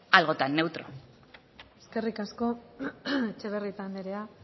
algo tan neutro eskerrik asko etxebarrieta anderea